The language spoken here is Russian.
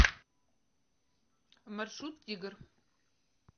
маршрут тигр